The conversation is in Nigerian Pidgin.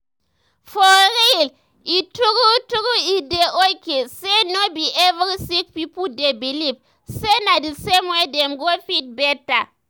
for real eh true true e dey okay say no be every sick pipo dey believe say na d same way dem go fit better.